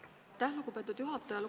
Aitäh, lugupeetud juhataja!